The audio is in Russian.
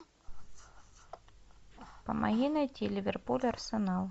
помоги найти ливерпуль арсенал